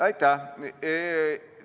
Aitäh!